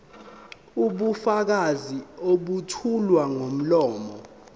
ubufakazi obethulwa ngomlomo